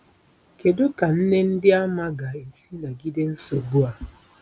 Kedu ka nne Ndịàmà ga-esi nagide nsogbu a?